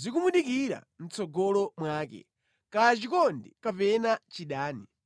zikumudikira mʼtsogolo mwake, kaya chikondi kapena chidani.